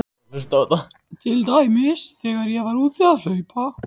Til dæmis þegar ég var úti að hlaupa.